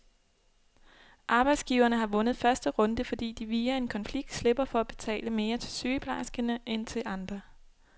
Arbejdsgiverne har vundet første runde, fordi de via en konflikt slipper for at betale mere til sygeplejerskerne end til andre.